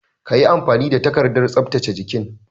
Ka yi amfani da takardar tsaftace jikin!